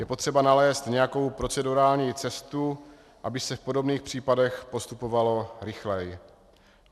Je potřeba nalézt nějakou procedurální cestu, aby se v podobných případech postupovalo rychleji.